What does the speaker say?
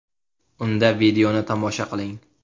Unda videoni tomosha qiling!